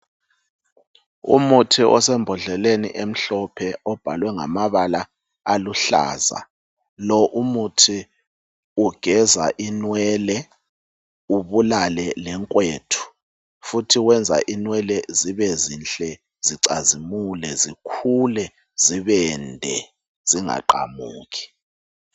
Umuthi osembodleleni emhlophe ubhalwe ngamabala aluhlaza. Lo umuthi ugeza inwele ubulale lenkwethu futhi wenza inwele zibe zinhle zicazimule zikhule zibende zingaqamuki.